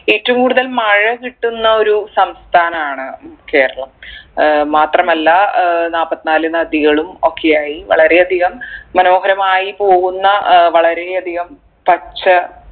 ഏറ്റവും കൂടുതൽ മഴ കിട്ടുന്ന ഒരു സംസ്ഥാനാണ് കേരളം ഏർ മാത്രമല്ല ഏർ നാല്പത്തിനാല് നദികളും ഒക്കെ ആയി വളരെ അധികം മനോഹരമായി പോകുന്ന ഏർ വളരെ അധികം പച്ച